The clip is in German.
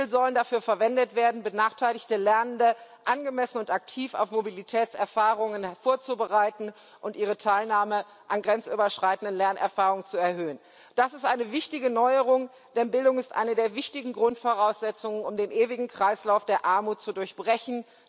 Mittel sollen dafür verwendet werden, benachteiligte Lernende angemessen und aktiv auf Mobilitätserfahrungen vorzubereiten und ihre Teilnahme an grenzüberschreitenden Lernerfahrungen zu erhöhen. Das ist eine wichtige Neuerung, denn Bildung ist eine der wichtigen Grundvoraussetzungen, um den ewigen Kreislauf der Armut zu durchbrechen.